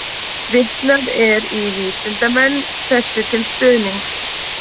Vitnað er í vísindamenn þessu til stuðnings.